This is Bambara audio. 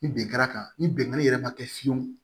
Ni bin kɛra kan ni binganni yɛrɛ ma kɛ fiyewu